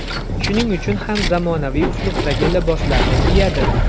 Shuning uchun ham zamonaviy uslubdagi liboslarni kiyadi.